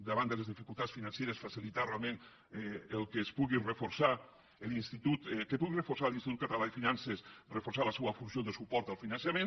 davant de les dificultats financeres facilitar realment que es pugui reforçar l’institut que pugui l’institut ca·talà de finances reforçar la seua funció de suport al finançament